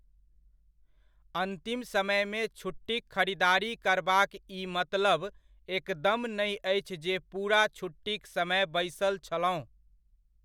अन्तिम समयमे छुट्टीक खरीदारी करबाक ई मतलब एकदम नहि अछि जे पूरा छुट्टीक समय बैसल छलहुँ।